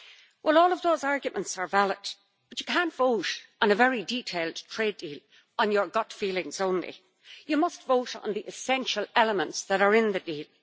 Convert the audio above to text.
Well, all of those arguments are valid, but you cannot vote on a very detailed trade deal on your gut feelings only. You must vote on the essential elements that are in the deal.